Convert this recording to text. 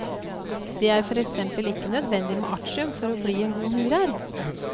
Det er for eksempel ikke nødvendig med artium for å bli en god murer.